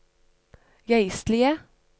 geistlige